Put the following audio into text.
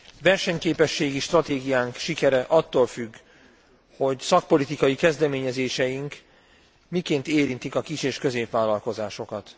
Versenyképességi stratégiánk sikere attól függ, hogy szakpolitikai kezdeményezéseink miként érintik a kis és középvállalkozásokat.